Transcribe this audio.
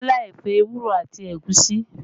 Kọ́lá ẹ̀fọ́ ewúro àti ẹ̀gúsí